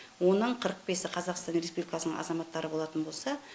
оның қырық бесі қазақстан республикасының азаматтары болатын болса